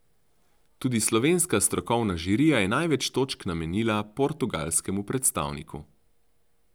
Tudi slovenska strokovna žirija je največ točk namenila portugalskemu predstavniku.